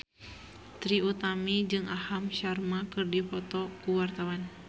Trie Utami jeung Aham Sharma keur dipoto ku wartawan